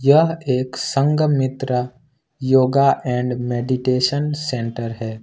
यह एक Sanghamitra yoga and meditation centre है।